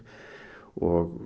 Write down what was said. og